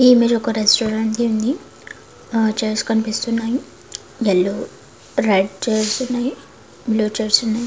ఈ ఇమేజ్ ఒక రెస్టారెంట్ ది ఉంది ఆ చైర్స్ కనిపిస్తున్నాయి యెల్లో రెడ్ చైర్స్ ఉన్నాయి బ్లూ చైర్స్ ఉన్నాయి